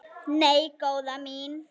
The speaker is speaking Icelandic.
Nei, góða mín.